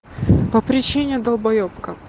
по причине долбаебка